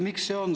Miks?